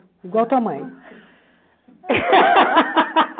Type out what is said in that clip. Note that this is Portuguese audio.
Igual a tua mãe.